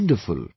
Wonderful